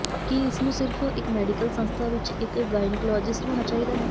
ਕੀ ਇਸ ਨੂੰ ਸਿਰਫ ਇਕ ਮੈਡੀਕਲ ਸੰਸਥਾ ਵਿਚ ਇਕ ਗਾਇਨੀਕਲੋਜਿਸਟ ਹੋਣਾ ਚਾਹੀਦਾ ਹੈ